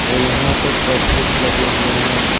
और यहां पे पर्दे भी लगे हुए हैं।